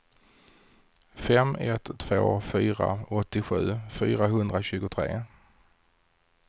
fem ett två fyra åttiosju fyrahundratjugotre